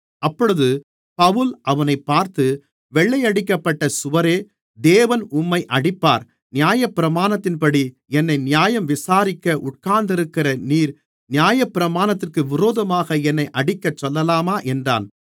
அப்பொழுது பவுல் அவனைப் பார்த்து வெள்ளையடிக்கப்பட்ட சுவரே தேவன் உம்மை அடிப்பார் நியாயப்பிரமாணத்தின்படி என்னை நியாயம் விசாரிக்க உட்கார்ந்திருக்கிற நீர் நியாயபிரமாணத்திற்கு விரோதமாக என்னை அடிக்கச்சொல்லலாமா என்றான்